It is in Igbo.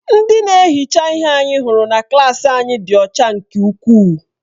Ndị na-ehicha ihe anyị hụrụ na klaasị anyị dị ọcha nke ukwuu.